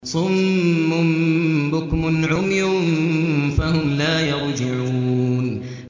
صُمٌّ بُكْمٌ عُمْيٌ فَهُمْ لَا يَرْجِعُونَ